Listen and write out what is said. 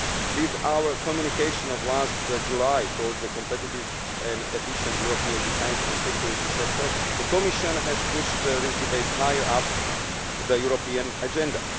With our communication of last July ʻTowards a competitive and efficient European defence and security sectorʼ the Commission has pushed this debate higher up the European agenda.